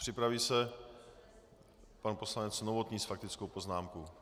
Připraví se pan poslanec Novotný s faktickou poznámkou.